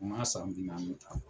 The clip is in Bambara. U m'a san bi nanni